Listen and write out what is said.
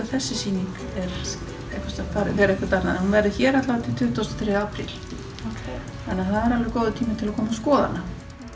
þessi sýning fer eitthvert annað en hún verður hér til tuttugustu og þriðja apríl þannig það er alveg góður tími til að koma að skoða hana